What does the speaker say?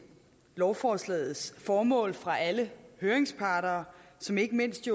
lovforslagets formål fra alle høringsparter ikke mindst